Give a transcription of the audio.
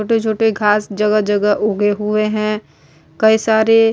छोटे-छोटे घाँस जगह -जगह उगे हुए हैं। कई सारे --